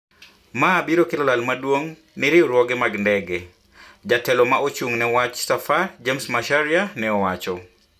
"ma biro kelo lal maduong ni riwruoge mag ndege" jatelo ma ochung na wach safar James Macharia ne owacho